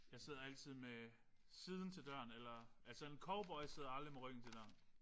Jeg sidder altid med siden til døren eller altså en cowboy sidder aldrig med ryggen til døren